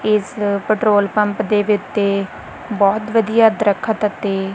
ਇਸ petrol pump ਦੇ ਵਿੱਚ ਬਹੁਤ ਵਧੀਆ ਦਰਖਤ ਅਤੇ--